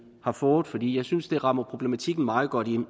har fået fordi jeg synes at den rammer problematikken meget godt ind